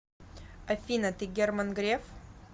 афина ты герман греф